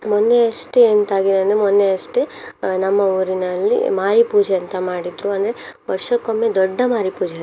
ಮೊನ್ನೆ ಅಷ್ಟೇ ಎಂತಾಗಿದೆ ಅಂದ್ರೆ ಮೊನ್ನೆ ಅಷ್ಟೇ ಅಹ್ ನಮ್ಮ ಊರಿನಲ್ಲಿ ಮಾರಿ ಪೂಜೆ ಅಂತ ಮಾಡಿದ್ರು ಅಂದ್ರೆ ವರ್ಷಕ್ಕೊಮ್ಮೆ ದೊಡ್ಡ ಮಾರಿಪೂಜೆ.